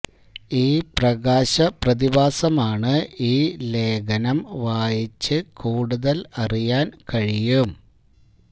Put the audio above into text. ഈ പ്രകാശ പ്രതിഭാസമാണ് ഈ ലേഖനം വായിച്ച് കൂടുതൽ അറിയാൻ കഴിയും